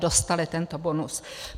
Dostali tento bonus.